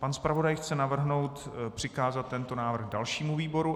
Pan zpravodaj chce navrhnout přikázat tento návrh dalšímu výboru.